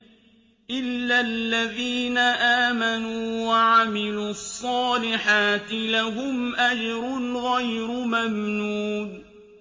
إِلَّا الَّذِينَ آمَنُوا وَعَمِلُوا الصَّالِحَاتِ لَهُمْ أَجْرٌ غَيْرُ مَمْنُونٍ